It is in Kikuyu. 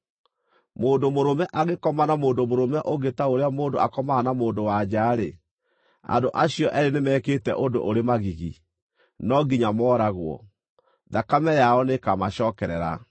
“ ‘Mũndũ mũrũme angĩkoma na mũndũ mũrũme ũngĩ ta ũrĩa mũndũ akomaga na mũndũ-wa-nja-rĩ, andũ acio eerĩ nĩmekĩte ũndũ ũrĩ magigi. No nginya mooragwo; thakame yao nĩĩkamacookerera.